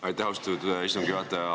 Aitäh, austatud istungi juhataja!